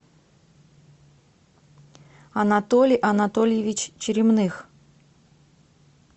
анатолий анатольевич черемных